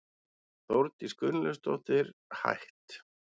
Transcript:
Þórdís Gunnlaugsdóttir, hætt